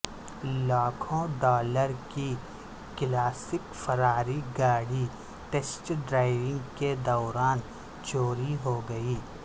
لاکھوں ڈالر کی classic Ferrari گاڑی ٹیسٹ ڈرائیو کے دوران چوری ہو گئی